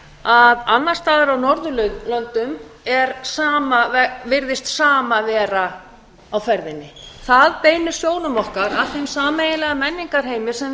að annars staðar á norðurlöndum virðist sama vera á ferðinni það beinir sjónum okkar að þeim sameiginlega menningarheimi sem við